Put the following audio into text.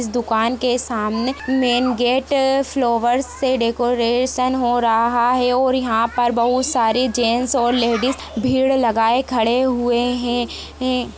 इस दुकान के सामने मेन गेट फ्लावर से डेकोरेशन हो रहा है और यहाँ पर बहुत सारे जेंट्स और लेडीज़ भीड़ लगाए खड़े हुए हैं।